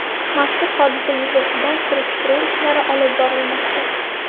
Mazkur hodisa yuzasidan surishtiruv ishlari olib borilmoqda.